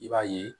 I b'a ye